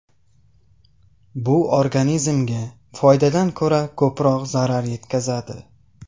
Bu organizmga foydadan ko‘ra ko‘proq zarar yetkazadi.